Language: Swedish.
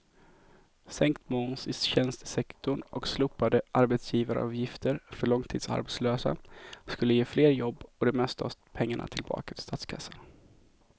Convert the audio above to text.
Sänkt moms i tjänstesektorn och slopade arbetsgivaravgifter för långtidsarbetslösa skulle ge fler jobb och det mesta av pengarna tillbaka till statskassan.